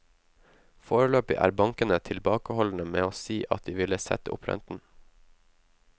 Foreløpig er bankene tilbakeholdne med å si at de vil sette opp renten.